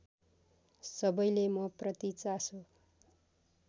सबैले मप्रति चासो